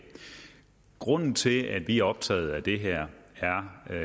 grunden til at vi er optaget af det her